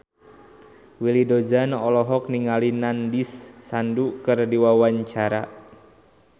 Willy Dozan olohok ningali Nandish Sandhu keur diwawancara